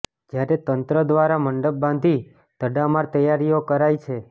જ્યારે તંત્ર દ્વારા મંડપ બાંધી તડામાર તૈયારીઓ કરાઈ છે